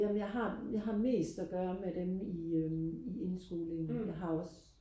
jamen jeg har jeg har mest og gøre med dem i øhm i indskolingen jeg har også